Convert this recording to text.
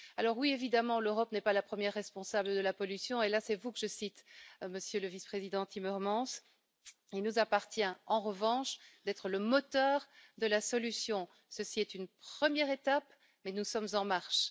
Alors, oui, évidemment, l'Europe n'est pas la première responsable de la pollution, et là c'est vous que je cite, Monsieur le Vice président Timmermans, il nous appartient en revanche d'être le moteur de la solution. Ceci est une première étape, mais nous sommes en marche.